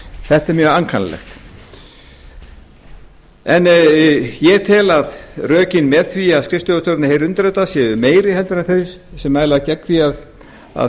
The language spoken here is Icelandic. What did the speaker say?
þetta er mjög ankannalega ég tel að rökin með því að skrifstofustjórarnir heyri undir þetta séu meiri en þau sem mæla gegn því að